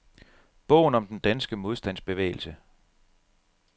Bogen om den danske modstandsbevægelse.